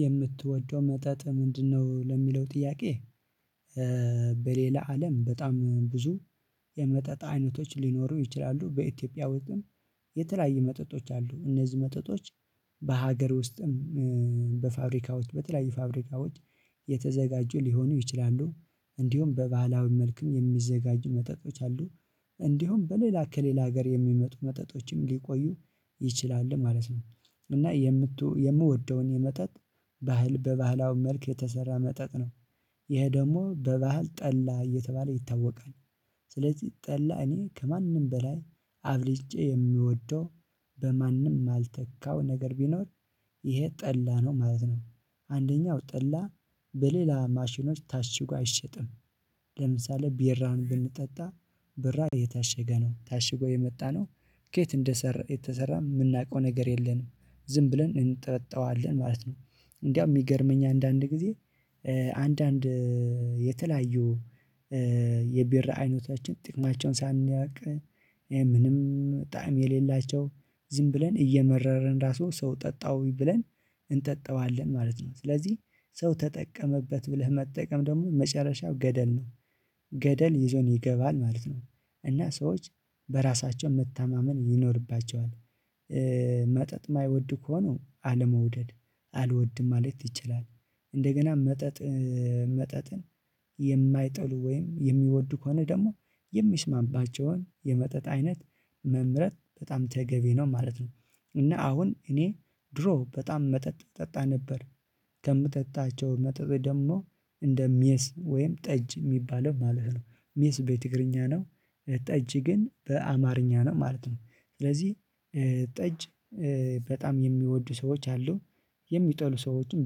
የምትወደው መጠጥ ምንድነው? ለሚለው ጥያቄ በሌላ አለም በጣም ብዙ የመጠጥ አይነቶች ሊኖሩ ይችላሉ በኢትዮጵያ ውስጥም የተለያየ መጠጦች አሉ እነዚህ መጠጦች በሀገር ውስጥም በፋብሪካዎች በተለያዩ ፋብሪካዎች የተዘጋጁ ሊሆኑ ይችላሉ እንዲሁም በባህላዊ መልኩም የሚዘጋጁ መጠጦች አሉ እንዲሁም በሌላ ከሌላ ሀገር የሚመጡ መጠጦችም ሊቆዩ ይችላል ማለት ነው እና የምወደውን የመጠጥ ባህል በባህላዊ መልክ የተሰራ መጠጥ ነው ይሄ ደግሞ በባህል ጠላ እየተባለ ይታወቃል ስለዚህ ጠላ እኔ ከማንም በላይ አብልጬ የምወደው በማንም የማልተካው ነገር ቢኖር ይሄ ጠላ ነው ማለት ነው አንደኛው ጠላ በሌላ ማሽኖች ታሽጎ አይሸጥም ለምሳሌ ቢራ ብንጠጣ ብራ እየታሸገ ነው ታሽጎ የመጣነው ከየት እንደሠራ የተሰራ የምናውቀው ነገር የለንም ዝም ብለን እንጠጣዋለን ማለት ነው እንዲያው የሚገርመኝ አንዳንድ ጊዜ አንዳንድ የተለያዩ የብራ አይነታችን ጥቅማቸውን ሳናውቅ ምንም ጣዕም የሌላቸው ዝም ብለን እየመረረን ራሱ ሰው ጠጣውኝ ብለን እንጠጣዋለን ማለት ነው ስለዚህ ሰው ተጠቀመበት ብለህ መጠቀም ደግሞ መጨረሻው ገደል ነው ገደል ይዞን ይገባል ማለት ነው እና ሰዎች በራሳቸው መታማመን ይኖርባቸዋል መጠጥ የማይወድ ከሆነ አለመውደድ አልወድም ማለት ይችላል እንደገና መጠጥ መጠጥን የማይጠሉ ወይም የሚወዱ ከሆነ ደግሞ የሚስማባቸውን የመጠጥ አይነት መምረጥ በጣም ተገቢ ነው ማለት ነው እና አሁን እኔ ድሮ በጣም መጠጥ እጠጣ ነበር ከምጠጣቸው መጠጥ ደግሞ እንደ ሜስ ወይም ጠጅ የሚባለው ማለት ነው ሜስ በትግርኛ ነው ጠጅ ግን በአማርኛ ነው ማለት ነው ስለዚህ ጠጅ በጣም የሚወዱ ሰዎች አሉ የሚጠሉ ሰዎችን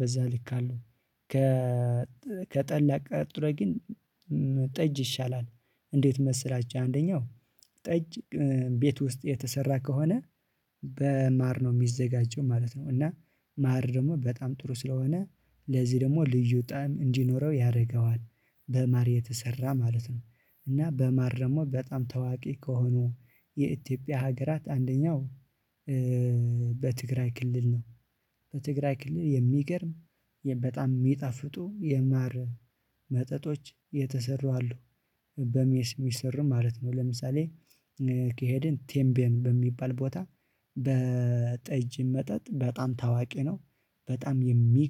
በዛ ልክ አሉ ከ ከጠላ ቀጥሎ ግን ጠጅ ይሻላል እንዴት መሰላችሁ አንደኛው ጠጅ ቤት ውስጥ የተሰራ ከሆነ በማር ነው የሚዘጋጀው ማለት ነው እና ማር ደግሞ በጣም ጥሩ ስለሆነ ለዚህ ደግሞ ልዩ ጣዕም እንዲኖረው ያደርገዋል በማር የተሰራ ማለት ነው እና በማር ደግሞ በጣም ታዋቂ ከሆኑ የኢትዮጵያ ሀገራት አንደኛው በትግራይ ክልል ነው በትግራይ ክልል የሚገርም በጣም የሚጣፍጡ የማር መጠጦች የተሰሩ አሉ በሜስ ሚሠሩ ማለት ነው ለምሳሌ ከሄድን ቴምቤን በሚባል ቦታ በጠጅ መጠጥ በጣም ታዋቂ ነው በጣም የሚግርም